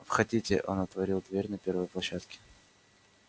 входите он отворил дверь на первой площадке